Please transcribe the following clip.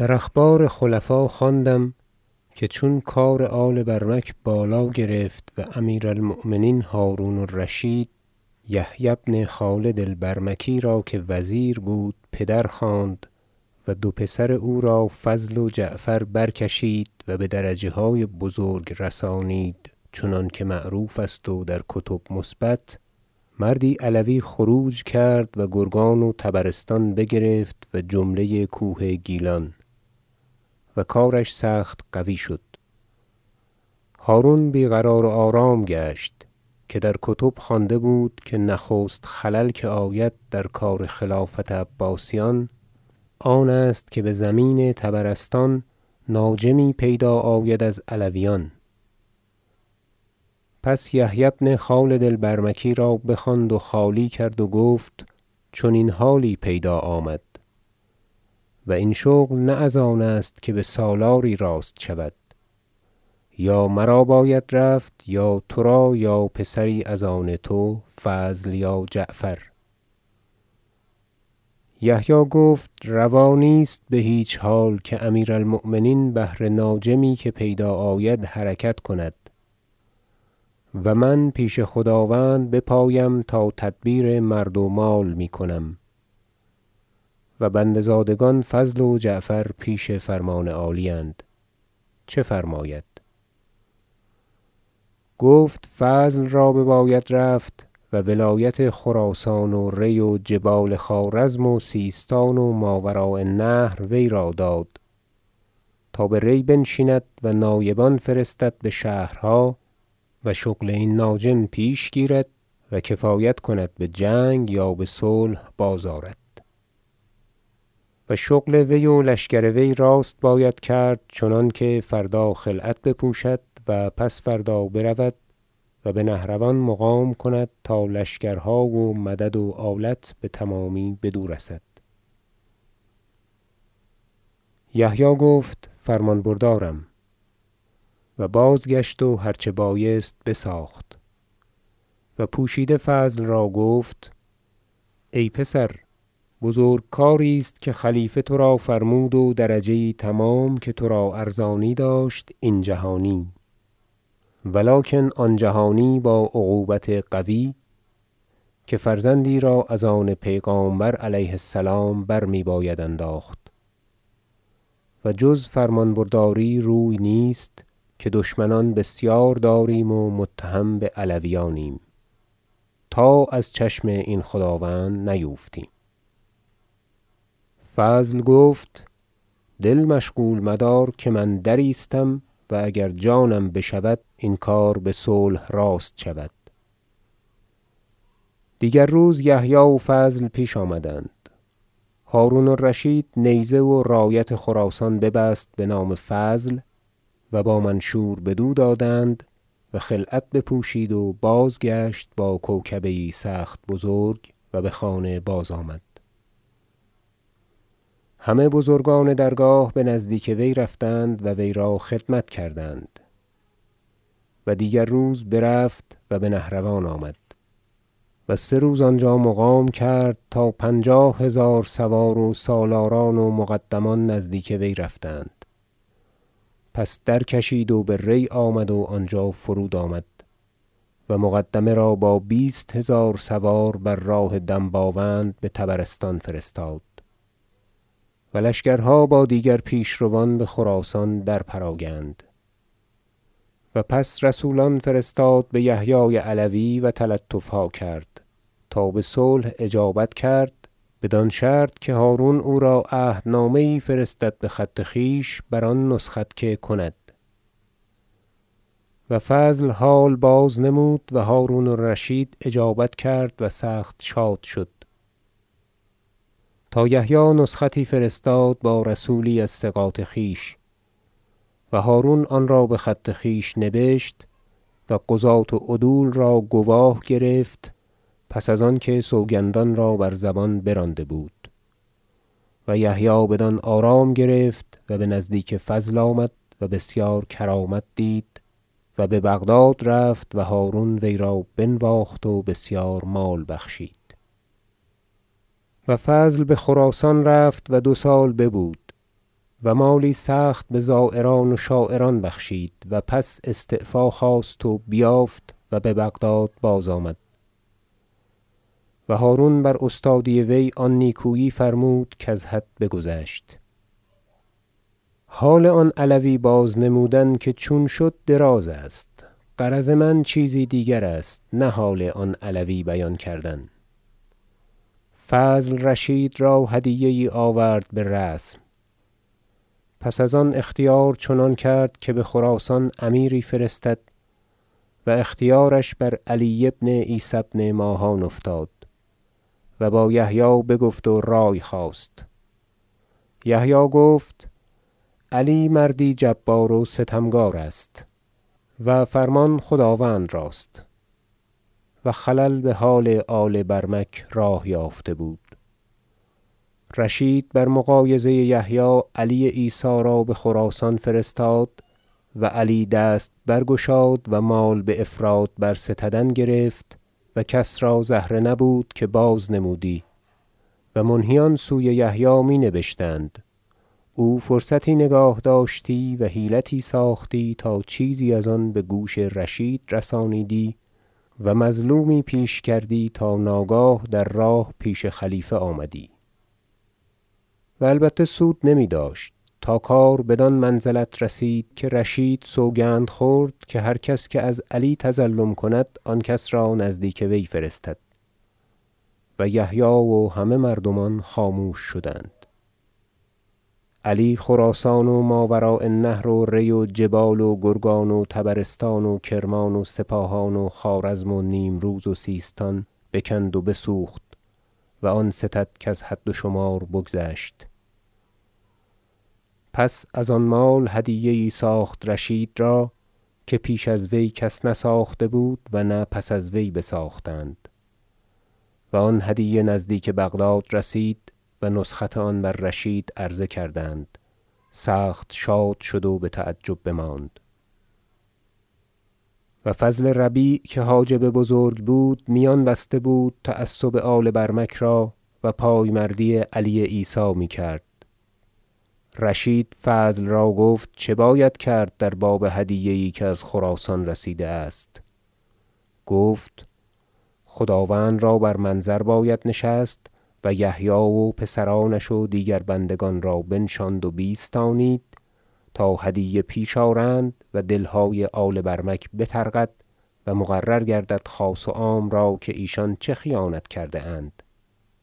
الحکایة در اخبار خلفا خوانده ام که چون کار آل برمک بالا گرفت و امیر المؤمنین هرون- الرشید یحیی بن خالد البرمکی را که وزیر بود پدر خواند و دو پسر او را فضل و جعفر برکشید و بدرجه های بزرگ رسانید چنانکه معروف است و در کتب مثبت مردی علوی خروج کرد و گرگان و طبرستان بگرفت و جمله کوه گیلان و کارش سخت قوی شد هرون بی قرار و آرام گشت که در کتب خوانده بود که نخست خلل که آید در کار خلافت عباسیان آن است که بزمین طبرستان ناجمی پیدا آید از علویان پس یحیی بن خالد البرمکی را بخواند و خالی کرد و گفت چنین حالی پیدا آمد و این شغل نه از آن است که بسالاری راست شود یا مرا باید رفت یا ترا یا پسری از آن تو فضل یا جعفر یحیی گفت روا نیست بهیچ حال که امیر المؤمنین بهر ناجمی که پیدا آید حرکت کند و من پیش خداوند بپایم تا تدبیر مرد و مال میکنم و بنده زادگان فضل و جعفر پیش فرمان عالی اند چه فرماید گفت فضل را بباید رفت و ولایت خراسان و ری و جبال خوارزم و سیستان و ماوراء النهر وی را داد تا به ری بنشیند و نایبان فرستد بشهرها و شغل این ناجم پیش گیرد و کفایت کند بجنگ یا بصلح بازآرد و شغل وی و لشکر وی راست باید کرد چنانکه فردا خلعت بپوشد و پس فردا برود و بنهروان مقام کند تا لشکرها و مدد و آلت بتمامی بدو رسد یحیی گفت فرمان بردارم و بازگشت و هر چه بایست بساخت و پوشیده فضل را گفت ای پسر بزرگ کاری است که خلیفه ترا فرمود و درجه یی تمام که ترا ارزانی داشت این جهانی ولکن آن جهانی با عقوبت قوی که فرزندی را از آن پیغامبر علیه السلام برمیباید انداخت و جز فرمانبرداری روی نیست که دشمنان بسیار داریم و متهم بعلویانیم تا از چشم این خداوند نیوفتیم فضل گفت دل مشغول مدار که من درایستم و اگر جانم بشود تا این کار بصلح راست شود دیگر روز یحیی و فضل پیش آمدند هرون الرشید نیزه و رایت خراسان ببست بنام فضل و با منشور بدو دادند و خلعت بپوشید و بازگشت با کوکبه یی سخت بزرگ و بخانه بازآمد همه بزرگان درگاه بنزدیک وی رفتند و وی را خدمت کردند و دیگر روز برفت و بنهروان آمد و سه روز آنجا مقام کرد تا پنجاه هزار سوار و سالاران و مقدمان نزدیک وی رفتند پس درکشید و به ری آمد و آنجا فرود آمد و مقدمه را با بیست هزار سوار بر راه دنباوند بطبرستان فرستاد و لشکرها با دیگر پیشروان بخراسان درپراگند و پس رسولان فرستاد به یحیی علوی و تلطفها کرد تا بصلح اجابت کرد بدان شرط که هرون او را عهدنامه یی فرستد بخط خویش بر آن نسخت که کند و فضل حال بازنمود و هرون الرشید اجابت کرد و سخت شاد شد تا یحیی نسختی فرستاد با رسولی از ثقات خویش و هرون آنرا بخط خویش نبشت و قضاة و عدول را گواه گرفت پس از آن که سوگندان را بر زبان برانده بود و یحیی بدان آرام گرفت و بنزدیک فضل آمد و بسیار کرامت دید و ببغداد رفت و هرون وی را بنواخت و بسیار مال بخشید و فضل بخراسان رفت و دو سال ببود و مالی سخت بزایران و شاعران بخشید و پس استعفا خواست و بیافت و ببغداد بازآمد و هرون براستای وی آن نیکویی فرمود کز حد بگذشت حال آن علوی بازنمودن که چون شد دراز است غرض من چیزی دیگر است نه حال آن علوی بیان کردن فضل رشید را هدیه یی آورد برسم پس از آن اختیار چنان کرد که بخراسان امیری فرستد و اختیارش بر علی بن عیسی بن ماهان افتاد و با یحیی بگفت و رای خواست یحیی گفت علی مردی جبار و ستمکارست و فرمان خداوند راست- و خلل بحال آل برمک راه یافته بود- رشید بر مغایظه یحیی علی عیسی را بخراسان فرستاد و علی دست برگشاد و مال بافراط برستدن گرفت و کس را زهره نبود که بازنمودی و منهیان سوی یحیی می نبشتند او فرصتی نگاه داشتی و حیلتی ساختی تا چیزی از آن بگوش رشید رسانیدی و مظلومی پیش کردی تا ناگاه در راه پیش خلیفه آمدی و البته سود نمیداشت تا کار بدان منزلت رسید که رشید سوگند خورد که هر کس که از علی تظلم کند آن کس را نزدیک وی فرستد و یحیی و همه مردمان خاموش شدند تفصیل هدیه علی عیسی بهرون علی خراسان و ماوراء النهر و ری و جبال و گرگان و طبرستان و کرمان و سپاهان و خوارزم و نیم روز و سیستان بکند و بسوخت و آن ستد کز حد و شمار بگذشت پس از آن مال هدیه یی ساخت رشید را که پیش از وی کس نساخته بود و نه پس از وی بساختند و آن هدیه نزدیک بغداد رسید و نسخت آن بر رشید عرضه کردند سخت شاد شد و بتعجب بماند و فضل ربیع که حاجب بزرگ بود میان بسته بود تعصب آل برمک را و پایمردی علی عیسی میکرد رشید فضل را گفت چه باید کرد در باب هدیه یی که از خراسان رسیده است گفت خداوند را بر منظر باید نشست و یحیی و پسرانش و دیگر بندگان را بنشاند و بیستانید تا هدیه پیش آرند و دلهای آل برمک بطرقد و مقرر گردد خاص و عام را که ایشان چه خیانت کرده اند